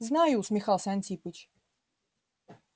знаю усмехался антипыч